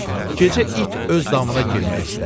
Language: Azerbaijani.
Gecə it öz damına girmək istədi.